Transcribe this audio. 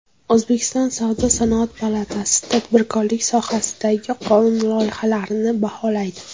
O‘zbekiston Savdo-sanoat palatasi tadbirkorlik sohasidagi qonun loyihalarini baholaydi.